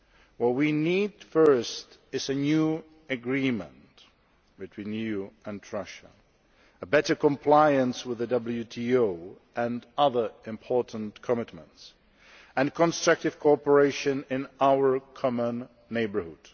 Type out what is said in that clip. now. What we need first is a new agreement between the EU and Russia, better compliance with WTO rules and other important commitments, and constructive cooperation in our common neighbourhood.